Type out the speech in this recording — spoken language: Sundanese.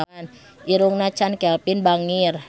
Irungna Chand Kelvin bangir